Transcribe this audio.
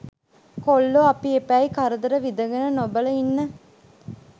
කොල්ලො අපි එපැයි කරදර විදගෙන නොබල ඉන්න